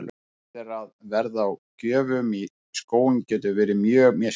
Ljóst er að verð á gjöfum í skóinn getur verið mjög misjafnt.